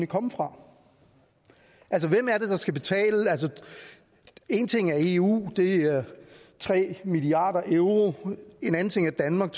komme fra altså hvem er det der skal betale en ting er eu det er tre milliard euro en anden ting er danmark